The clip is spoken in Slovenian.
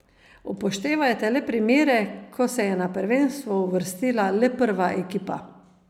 Upoštevajte le primere, ko se je na prvenstvo uvrstila le prva ekipa.